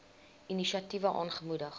inisiatiewe aangemoedig